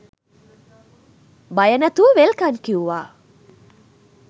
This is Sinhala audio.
බය නැතුව වෙල්කං කිව්වා